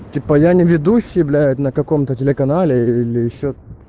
типа я не ведусь блять на каком то телеканале или ещё